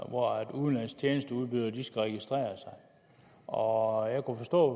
hvor udenlandske tjenesteudbydere skal registrere sig og jeg kunne forstå